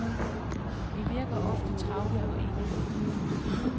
Vi virker ofte travle og indelukkede.